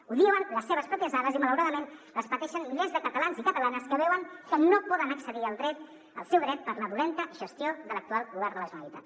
ho diuen les seves pròpies dades i malauradament les pateixen milers de catalans i catalanes que veuen que no poden accedir al seu dret per la mala gestió de l’actual govern de la generalitat